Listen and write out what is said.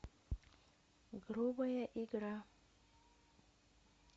грубая игра